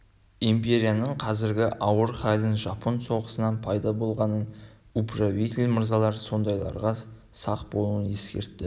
империяның қазіргі ауыр халін жапон соғысынан пайда болғанын управитель мырзалар сондайларға сақ болуын ескертті